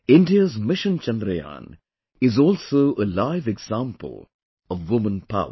India's Mission Chandrayaan is also a live example of woman power